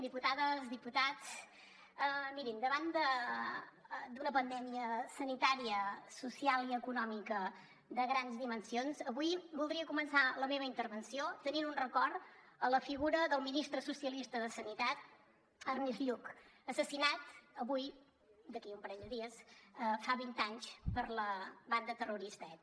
diputades diputats mirin davant d’una pandèmia sanitària social i econòmica de grans dimensions avui voldria començar la meva intervenció tenint un record a la figura del ministre socialista de sanitat ernest lluch assassinat avui d’aquí a un parell de dies fa vint anys per la banda terrorista eta